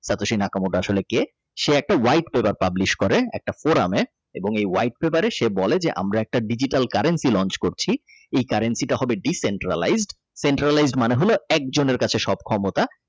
তাতোসি Nakamoto আসলে কে সে একটা White প্রথা publish করে একটা কোরআনে এবং white paper সে বলে যে আমরা একটা Digital currency launch করছি এ current সেটা হবে Decentralize Centralise মানে হলো একজনের কাছে সব ক্ষমতা।